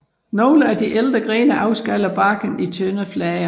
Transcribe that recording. Nogle af de ældre grene afskaller barken i tynde flager